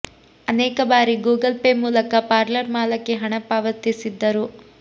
ಅನೇಕ ಬಾರಿ Google Pay ಮೂಲಕ ಪಾರ್ಲರ್ ಮಾಲಕಿ ಹಣ ಪಾವತಿಸಿದ್ದರು